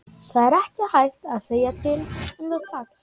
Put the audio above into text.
Það er ekki hægt að segja til um það strax.